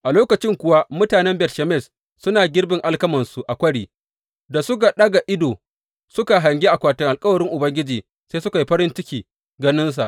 A lokacin kuwa mutanen Bet Shemesh suna girbin alkamansu a kwari da suka ɗaga ido suka hangi akwatin alkawarin Ubangiji, sai suka yi farin ciki ganinsa.